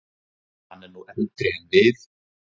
Hann er nú eldri en við.